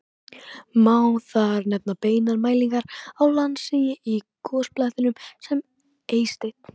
Má þar nefna beinar mælingar á landsigi í gosbeltinu sem Eysteinn